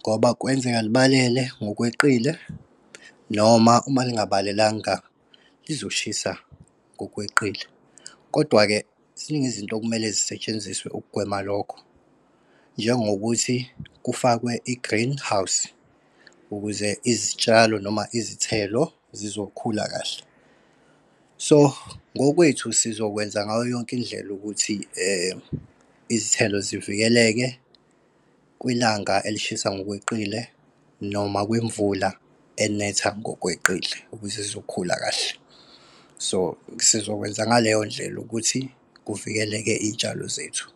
Ngoba kwenzeka libalele ngokweqile, noma uma lingabalelanga lizoshisa ngokweqile. Kodwa-ke, ziningi izinto okumele zisetshenziswe ukugwema lokho. Njengokuthi kufakwe i-greenhouse, ukuze izitshalo noma izithelo zizokhula kahle. So ngokwethu sizokwenza ngayo yonke indlela ukuthi izithelo zivikeleke kwilanga elishisa ngokweqile noma kwimvula elinetha ngokweqile, ukuze zizokhula kahle. So sizokwenza ngaleyo ndlela ukuthi kuvikeleke iy'tshalo zethu.